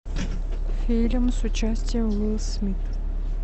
фильм с участием уилл смит